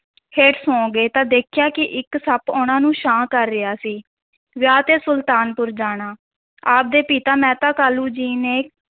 ਹੇਠ ਸੌ ਗਏ ਤਾਂ ਦੇਖਿਆ ਕਿ ਇੱਕ ਸੱਪ ਉਹਨਾਂ ਨੂੰ ਛਾਂ ਕਰ ਰਿਹਾ ਸੀ, ਵਿਆਹ ਤੇ ਸੁਲਤਾਨਪੁਰ ਜਾਣਾ, ਆਪ ਦੇ ਪਿਤਾ ਮਹਿਤਾ ਕਾਲੂ ਜੀ ਨੇ,